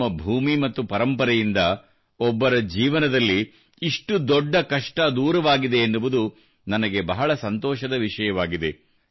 ನಮ್ಮ ಭೂಮಿ ಮತ್ತು ಪರಂಪರೆಯಿಂದ ಒಬ್ಬರ ಜೀವನದಲ್ಲಿ ಇಷ್ಟು ದೊಡ್ಡ ಕಷ್ಟ ದೂರವಾಗಿದೆ ಎನ್ನುವುದು ನನಗೆ ಬಹಳ ಸಂತೋಷದ ವಿಷಯವಾಗಿದೆ